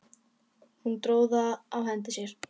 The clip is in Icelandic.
Hún dró það á hendi sér.